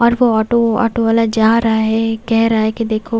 और वो auto auto वाला जा रहा है कह रहा है कि देखो--